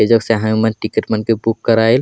येजा सभे मन के टिकट मन के बुक कराईल।